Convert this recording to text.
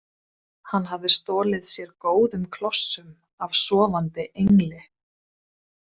Hann hafði stolið sér góðum klossum af sofandi Engli.